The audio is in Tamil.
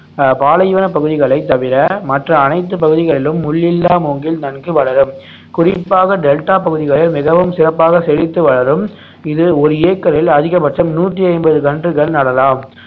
அஹ் பாலைவனப் பகுதிகளைத் தவிர மற்ற அனைத்து பகுதிகளிலும் முள் இல்லா மூங்கில் நன்கு வளரும் குறிப்பாக டெல்டா பகுதிகளில் மிகவும் சிறப்பாக செழித்து வளரும் இது ஒரு ஏக்கரில் அதிக பட்சம் நூத்தி ஐம்பது கன்றுகள் நடலாம்